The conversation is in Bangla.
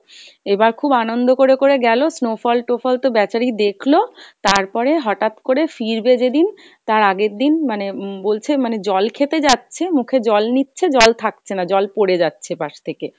এইবার খুব আনন্দ করে করে গেলো snowfall টোফল তো ব্যাচারি দেখলো, তারপরে হটাৎ করে ফিরবে যেদিন তার আগের দিন মানে উম বলছে মানে জল খেতে যাচ্ছে মুখে জল নিচ্ছে জল থাকছে না, জল পরে যাচ্ছে পাস থেকে